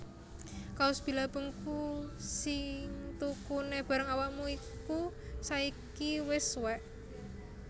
Kaos Billabong ku sing tukune bareng awakmu iko saiki wes suwek